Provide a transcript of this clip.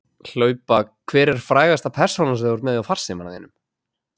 Hlaupa Hver er frægasta persónan sem þú ert með í farsímanum þínum?